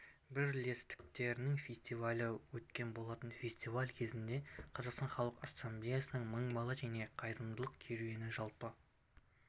бірлестіктерінің фестивалі өткен болатын фестиваль кезінде қазақстан халқы ассамблеясының мың бала және қайырымдылық керуені жалпы